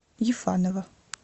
ефанова